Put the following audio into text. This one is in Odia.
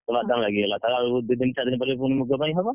ବାଦାମ ଲାଗିଗଲା! ତାପରେ ଆଉ ଦି ଦିନ ଚାରି ଦିନ ପରେ ମୁଗ ପାଇଁ ହବ,